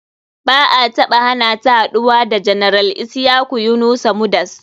Ba a hanata haɗuwa da general isyaku yunusa mudas.